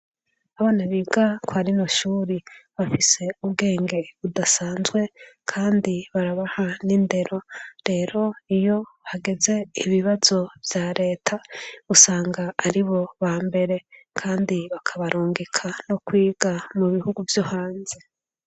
Abana biga kwa rino shuri bafise ubwenge budasanzwe, kandi barabaha n'indero, rero iyo hageze ibibazo ya Reta, usanga ari bo ba mbere. Kandi bakabarungika no kwiga mu bihugu vyo hanze.